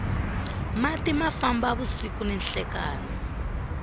mati ma famba vusiku ni nhlekani